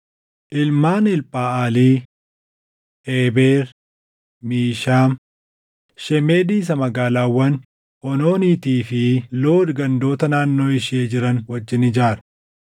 Ilmaan Elphaʼalii: Eeber, Mishaam, shemedi isa magaalaawwan Oonooniitii fi Lood gandoota naannoo ishee jiran wajjin ijaare;